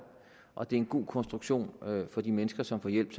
og det er en god konstruktion for de mennesker som får hjælp